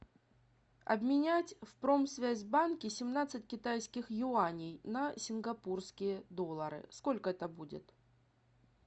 обменять в промсвязьбанке семнадцать китайских юаней на сингапурские доллары сколько это будет